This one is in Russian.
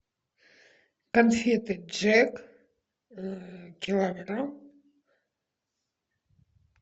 конфеты джек килограмм